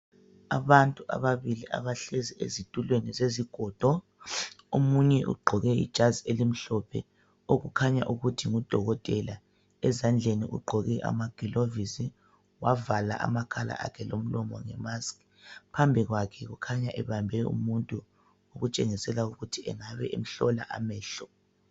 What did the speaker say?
Abantu ababili abahlezi ezitulwezi zezigodo, omunye ugqoke ijazi elimhlophe okukhanya ukuthi ngudokotela ezandleni ugqoke amagilovisi , wavala amakhala akhe lomlomo nge mask. Phambi kwakhe ukhanya ebambe umuntu oketshengisela ukuthi engabe emhlola amehlo.